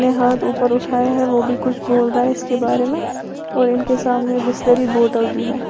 ने हाथ ऊपर उठाया है। वो भी कुछ बोल रहा है इसके बारे में और इनके सामने बिसलेरी बोटल भी है।